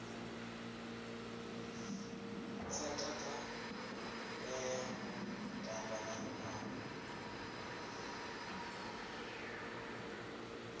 tsha takalela u tamba a